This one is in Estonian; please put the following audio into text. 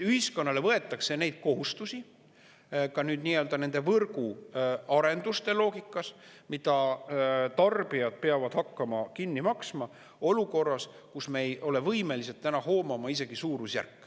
Ühiskonnale võetakse neid kohustusi ka n-öl nende võrguarenduste loogikas, mida tarbijad peavad hakkama kinni maksma olukorras, kus me ei ole võimelised hoomama isegi suurusjärke.